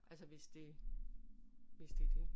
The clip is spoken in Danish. Altså hvis det hvis det er det